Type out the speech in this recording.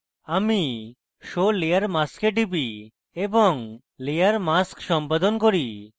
আমি show layer mask এ টিপি এবং layer mask সম্পাদন করি